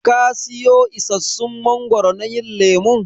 Ka siyo isassun mangoro na yin lemun?